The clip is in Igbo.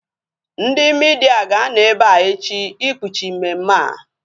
Ndị midia ga-anọ ebea echi ikpuchi mmemme a